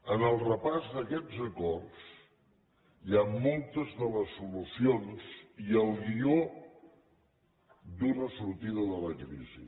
en el repàs d’aquests acords hi ha moltes de les solucions i el guió d’una sortida de la crisi